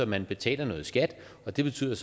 man betaler noget skat og det betyder